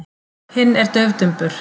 Hinn er daufdumbur.